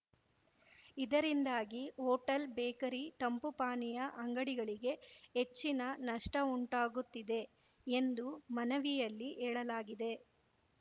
ಇದರಿಂದಾಗಿ hotel bakery ತಂಪು ಪಾನೀಯ ಅಂಗಡಿಗಳಿಗೆ ಹೆಚ್ಚಿನ ನಷ್ಟಉಂಟಾಗುತ್ತಿದೆ ಎಂದು ಮನವಿಯಲ್ಲಿ ಹೇಳಲಾಗಿದೆ